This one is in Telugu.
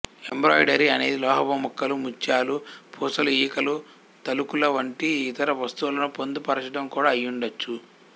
ఎంబ్రాయిడరీ అనేది లోహపు ముక్కలు ముత్యాలు పూసలు ఈకలు తళుకుల వంటి ఇతర వస్తువులను పొందుపరచడం కూడా అయుండవచ్చు